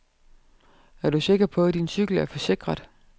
Er du sikker på, din cykel er forsikret.